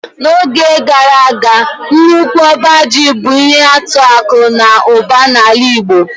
N'oge gara aga nnukwu ọba mba ji bụ ihe atụ akụ na ụba na ala igbo.